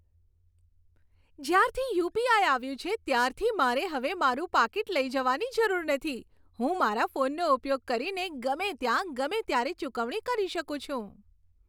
જ્યારથી યુ.પી.આઈ. આવ્યું છે ત્યારથી મારે હવે મારું પાકીટ લઈ જવાની જરૂર નથી. હું મારા ફોનનો ઉપયોગ કરીને ગમે ત્યાં, ગમે ત્યારે ચૂકવણી કરી શકું છું.